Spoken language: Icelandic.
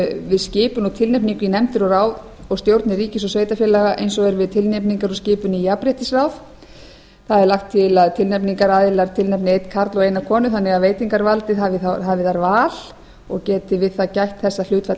við skipun og tilnefningu í nefndir og ráð og stjórnir ríkis og sveitarfélaga eins og er við tilnefningar á skipun í jafnréttisráð það er lagt til að tilnefningaraðilar tilnefni einn karl og eina konu þannig að veitingarvaldið hafi þar val geti við það allt að þetta hlutfall